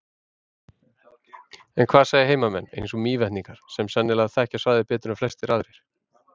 En hvað segja heimamenn, eins og Mývetningar, sem sennilega þekkja svæðið betur en flestir aðrir?